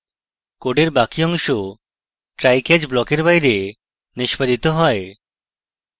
code বাকি অংশ try catch block এর বাইরে নিষ্পাদিত হয়